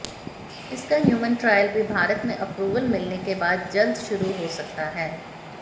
इसका human trial भी भारत में अप्रूवल मिलने के बाद जल्द शुरू हो सकता है